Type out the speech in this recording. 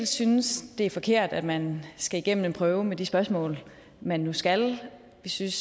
synes det er forkert at man skal igennem en prøve med de spørgsmål man nu skal vi synes